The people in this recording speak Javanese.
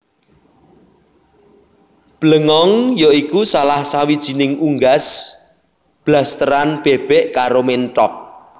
Blengong ya iku salah sawijining unggas blasteran bèbèk karo ménthok